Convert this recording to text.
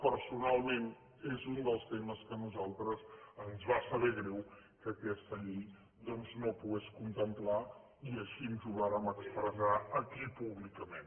personalment és un dels temes que a nosaltres ens va saber greu que aquesta llei doncs no pogués contemplar i així ho vàrem expressar aquí públicament